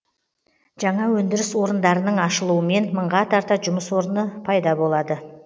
жаңа өндіріс орындарының ашылуымен мыңға тарта жұмыс орны пайда болады